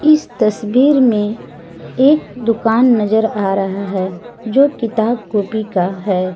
इस तस्वीर में एक दुकान नजर आ रहा है जो किताब कॉपी का है।